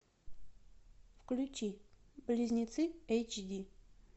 включи близнецы эйч ди